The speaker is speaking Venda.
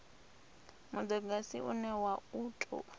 mudagasi une wa u tou